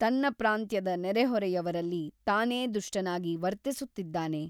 ತನ್ನ ಪ್ರಾಂತ್ಯದ ನೆರೆಹೊರೆಯವರಲ್ಲಿ ತಾನೇ ದುಷ್ಟನಾಗಿ ವರ್ತಿಸುತ್ತಿದ್ದಾನೆ.